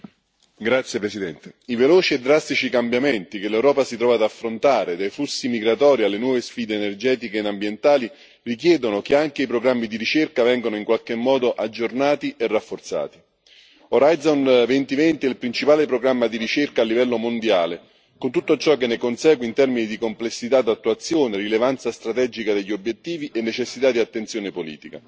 Signor Presidente, onorevoli colleghi, i veloci e drastici cambiamenti che l'Europa si trova ad affrontare, dai flussi migratori alle nuove sfide energetiche ed ambientali, richiedono che anche i programmi di ricerca vengano in qualche modo aggiornati e rafforzati. Horizon 2020 è il principale programma di ricerca a livello mondiale, con tutto ciò che ne consegue in termini di complessità d'attuazione, rilevanza strategica degli obiettivi e necessità di attenzione politica.